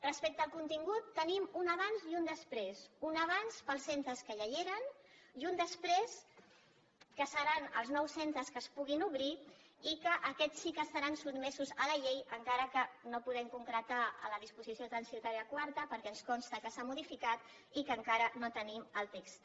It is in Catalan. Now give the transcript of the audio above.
respecte al contingut tenim un abans i un després un abans per als centres que ja hi eren i un després que seran els nous centres que es puguin obrir i que aquests sí que estaran sotmesos a la llei encara que no podem concretar a la disposició transitòria quarta perquè ens consta que s’ha modificat i que encara no tenim el text